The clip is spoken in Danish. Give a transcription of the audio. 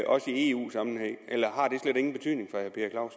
også i eu sammenhæng eller har det slet ingen betydning